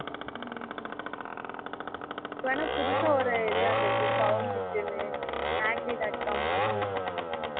ஹம் இப்போ வேணா புதுசா ஒரு வந்துருக்கு Found it னூ naukri dot com மாதிரியே